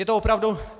Je to opravdu...